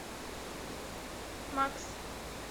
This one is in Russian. макс